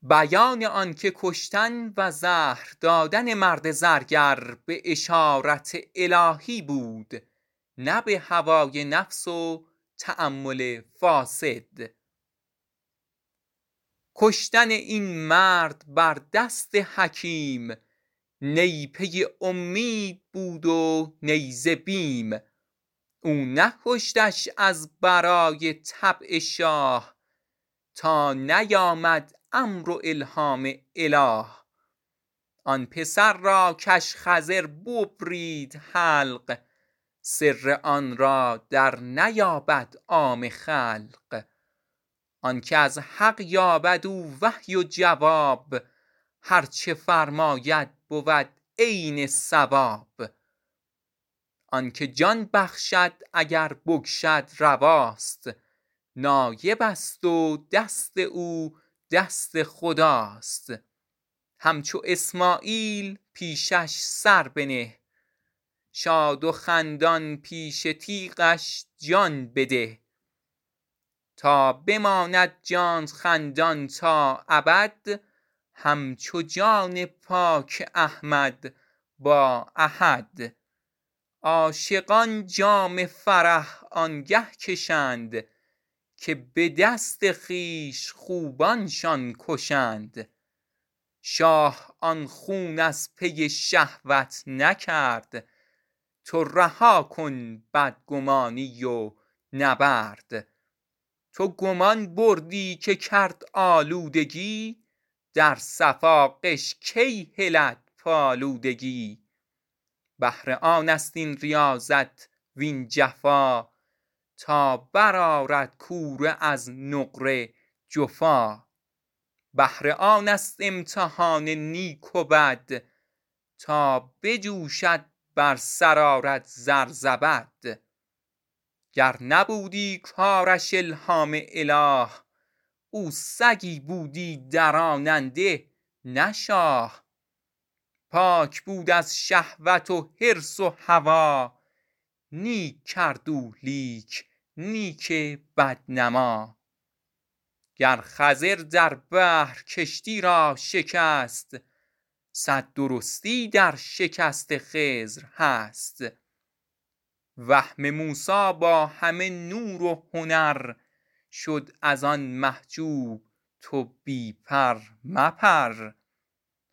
کشتن آن مرد بر دست حکیم نه پی اومید بود و نه ز بیم او نکشتش از برای طبع شاه تا نیامد امر و الهام اله آن پسر را کش خضر ببرید حلق سر آن را در نیابد عام خلق آنک از حق یابد او وحی و جواب هرچه فرماید بود عین صواب آنک جان بخشد اگر بکشد رواست نایبست و دست او دست خداست همچو اسماعیل پیشش سر بنه شاد و خندان پیش تیغش جان بده تا بماند جانت خندان تا ابد همچو جان پاک احمد با احد عاشقان آنگه شراب جان کشند که به دست خویش خوبانشان کشند شاه آن خون از پی شهوت نکرد تو رها کن بدگمانی و نبرد تو گمان بردی که کرد آلودگی در صفا غش کی هلد پالودگی بهر آنست این ریاضت وین جفا تا بر آرد کوره از نقره جفا بهر آنست امتحان نیک و بد تا بجوشد بر سر آرد زر زبد گر نبودی کارش الهام اله او سگی بودی دراننده نه شاه پاک بود از شهوت و حرص و هوا نیک کرد او لیک نیک بد نما گر خضر در بحر کشتی را شکست صد درستی در شکست خضر هست وهم موسی با همه نور و هنر شد از آن محجوب تو بی پر مپر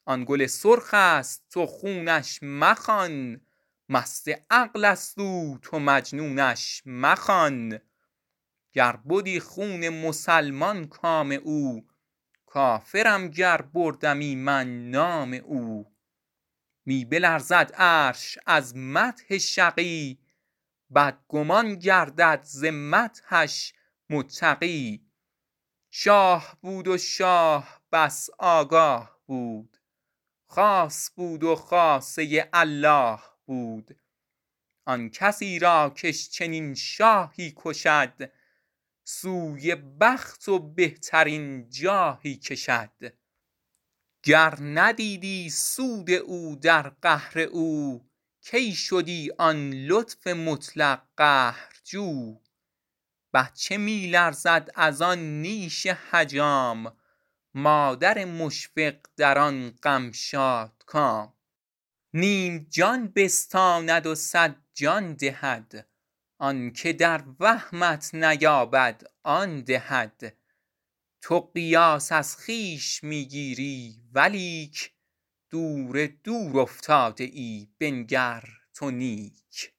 آن گل سرخست تو خونش مخوان مست عقلست او تو مجنونش مخوان گر بدی خون مسلمان کام او کافرم گر بردمی من نام او می بلرزد عرش از مدح شقی بدگمان گردد ز مدحش متقی شاه بود و شاه بس آگاه بود خاص بود و خاصه الله بود آن کسی را کش چنین شاهی کشد سوی بخت و بهترین جاهی کشد گر ندیدی سود او در قهر او کی شدی آن لطف مطلق قهرجو بچه می لرزد از آن نیش حجام مادر مشفق در آن دم شادکام نیم جان بستاند و صد جان دهد آنچ در وهمت نیاید آن دهد تو قیاس از خویش می گیری ولیک دور دور افتاده ای بنگر تو نیک